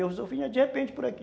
Eu vinha de repente por aqui.